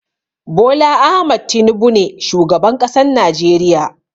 Bola Ahmad Tinubu ne shugaban ƙasan najeriya.